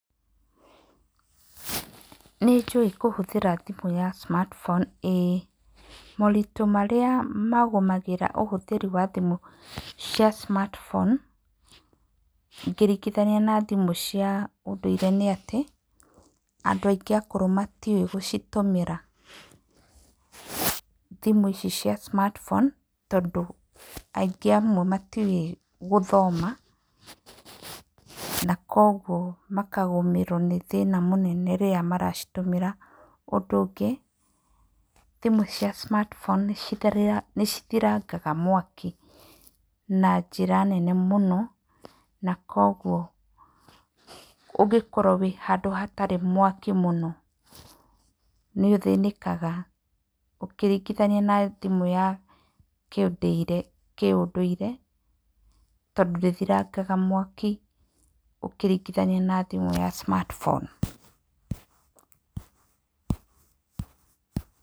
Nĩ njũĩ kũhũthĩra thimũ ya smart phone ĩĩ. Moritũ marĩa magũmagĩra ũhũthĩri wa thimũ cia smart phone ngĩringithania na thimũ cia ũndũire nĩ atĩ, andũ aingĩ akũrũ matiũĩ gũcitũmĩra. Thimũ ici cia smart phone tondũ aingĩ amwe matiũĩ gũthoma na kwoguo makagũmĩrwo nĩ thĩna mũnene rĩrĩa maracitũmĩra. Ũndũ ũngĩ, thimũ cia smart phone nĩ cithirangaga mwaki na njĩra nene mũno na kwoguo ũngĩkorwo wĩ handũ hatarĩ mwaki mũno nĩ ũthĩnĩkaga ũkĩringithania na thimũ ya kĩ ũndũire tondũ ndĩthiraga mwaki ũkĩringithania na thimũ ya smart phone.